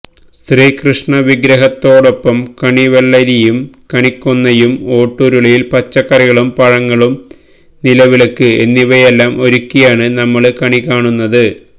ശ്രീകൃഷ്ണ വിഗ്രഹത്തോടൊപ്പം കണിവെള്ളരിയും കണിക്കൊന്നയും ഓട്ടുരുളിയില് പച്ചക്കറികളും പഴങ്ങളും നിലവിളക്ക് എന്നിവയെല്ലാം ഒരുക്കിയാണ് നമ്മള് കണി കാണുന്നത്